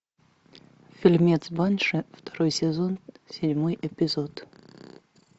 фильмец банши второй сезон седьмой эпизод